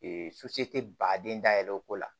tɛ baden da yɛlɛ o ko la